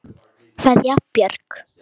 Kveðja, Björg.